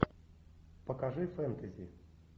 покажи фэнтези